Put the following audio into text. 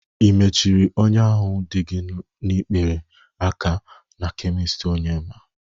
Ị mechiri ọnya ahụ dị gi n'ikpere aka na kemist Onyema?